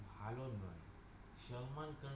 ভালো নয়, সম্মান কর।